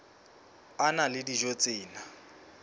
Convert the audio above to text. a na le dijo tse